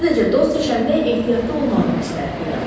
Sadəcə dost seçəndə ehtiyatlı olmağı məsləhət görərdim.